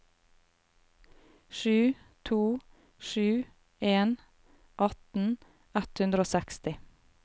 sju to sju en atten ett hundre og seksti